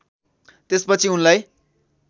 त्यसपछि उनलाई